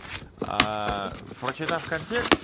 а прочитав контекст